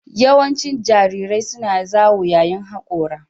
Yawancin jarirai suna zawo yayin hakora